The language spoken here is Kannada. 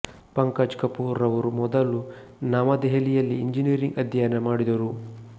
ಪಂಕಜ್ ಕಪೂರ್ ರವರು ಮೊದಲು ನವ ದೆಹಲಿಯಲ್ಲಿ ಇಂಜಿನಿಯರಿಂಗ್ ಅಧ್ಯಯನ ಮಾಡಿದರು